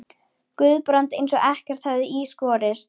Guðbrand eins og ekkert hefði í skorist.